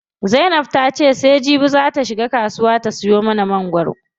Zainab ta ce sai jibi zaa ta shiga kasuwa ta siyo mangwaro.